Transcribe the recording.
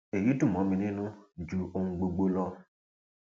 èyí dùn mọ mi nínú ju ohun gbogbo lọ